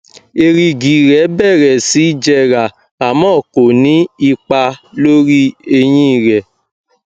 èrìgì rẹ bẹrẹ sí jẹrà àmọ ko ní ipa lórí eyín rẹ